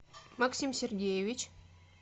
максим сергеевич